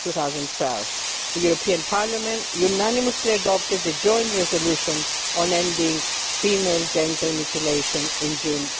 2012. The European Parliament unanimously adopted the joint resolution on ending female genital mutilation in June